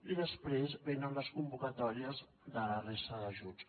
i després venen les convocatòries de la resta d’ajuts